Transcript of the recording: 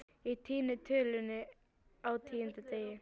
Ég týni tölunni á tíunda degi